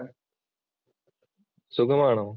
സുഖം ആണോ?